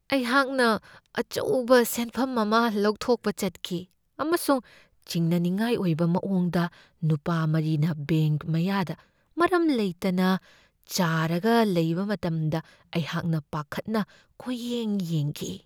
ꯑꯩꯍꯥꯛꯅ ꯑꯆꯧꯕ ꯁꯦꯟꯐꯝ ꯑꯃ ꯂꯧꯊꯣꯛꯄ ꯆꯠꯈꯤ ꯑꯃꯁꯨꯡ ꯆꯤꯡꯅꯅꯤꯡꯉꯥꯏ ꯑꯣꯏꯕ ꯃꯑꯣꯡꯗ ꯅꯨꯄꯥ ꯃꯔꯤꯅ ꯕꯦꯡꯛ ꯃꯌꯥꯗ ꯃꯔꯝ ꯂꯩꯇꯅ ꯆꯥꯔꯒ ꯂꯩꯕ ꯃꯇꯝꯗ ꯑꯩꯍꯥꯛꯅ ꯄꯥꯈꯠꯅ ꯀꯣꯏꯌꯦꯡ ꯌꯦꯡꯈꯤ ꯫